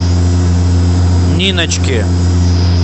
ниночки